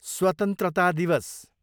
स्वतन्त्रता दिवस